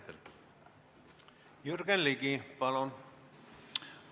Jürgen Ligi, palun!